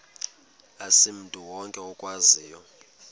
asimntu wonke okwaziyo